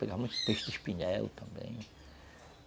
Pegavam muito peixe de espinhel também.